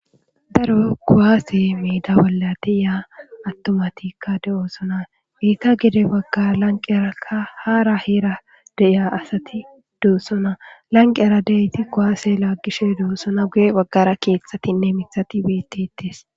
daro koaase miida bolla deya attomatikka de'osona iita gide baggara lanqerakka haara hiera deiya asati doossona lanqera deyti kowaase laaggishe doossona guye baggara keeththatinne mithati bettes.